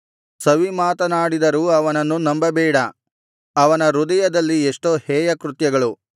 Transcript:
ಸವಿಮಾತನಾಡಿದರೂ ಅವನನ್ನು ನಂಬಬೇಡ ಅವನ ಹೃದಯದಲ್ಲಿ ಎಷ್ಟೋ ಹೇಯ ಕೃತ್ಯಗಳು